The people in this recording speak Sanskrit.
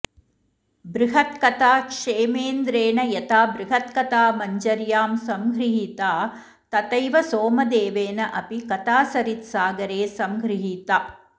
बृहत्कथा क्षेमेन्द्रेण यथा बृहत्कथामञ्जर्यां सङ्गृहीता तथैव सोमदेवेन अपि कथासरित्सागरे सङ्गृहीता